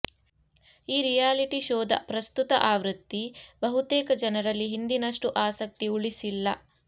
ಈ ರಿಯಾಲಿಟಿ ಶೋದ ಪ್ರಸ್ತುತ ಆವೃತ್ತಿ ಬಹುತೇಕ ಜನರಲ್ಲಿ ಹಿಂದಿನಷ್ಟು ಆಸಕ್ತಿ ಉಳಿಸಿಲ್ಲ